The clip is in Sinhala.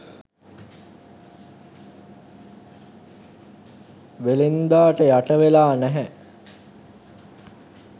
වෙළෙන්දාට යට වෙලා නෑ.